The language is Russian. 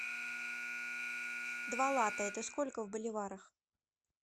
два лата это сколько в боливарах